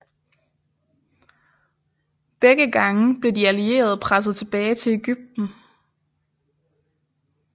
Begge gange blev de allierede presset tilbage til Egypten